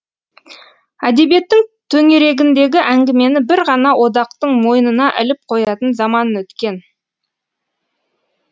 әдебиеттің төңерегіндегі әңгімені бір ғана одақтың мойнына іліп қоятын заман өткен